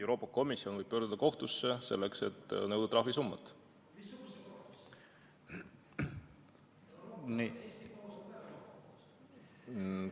Euroopa Komisjon võib pöörduda kohtusse selleks, et nõuda trahvisummat.